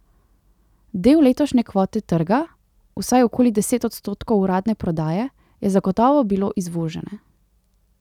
Del letošnje kvote trga, vsaj okoli deset odstotkov uradne prodaje, je zagotovo bilo izvožene.